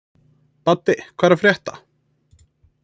Baddi, hvað er að frétta?